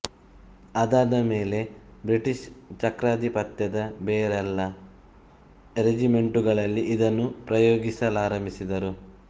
ಅದಾದ ಮೇಲೆ ಬ್ರಿಟಿಷ್ ಚಕ್ರಾಧಿಪತ್ಯದ ಬೇರೆಲ್ಲ ರೆಜಿಮೆಂಟುಗಳಲ್ಲಿ ಇದನ್ನು ಉಪಯೋಗಿಸಲಾರಂಭಿಸಿದರು